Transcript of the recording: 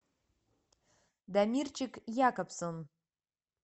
дамирчик якобсон